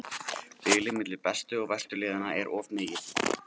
Bilið milli bestu og verstu liðanna er of mikið.